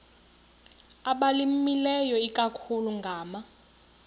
abalimileyo ikakhulu ngama